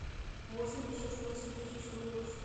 восемьдесят восемь тысяч долларов